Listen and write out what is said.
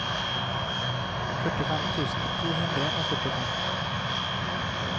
førtifem tusen to hundre og førtifem